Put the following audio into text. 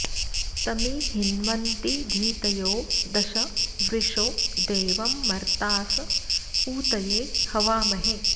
तमीं॑ हिन्वन्ति धी॒तयो॒ दश॒ व्रिशो॑ दे॒वं मर्ता॑स ऊ॒तये॑ हवामहे